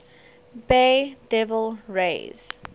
bay devil rays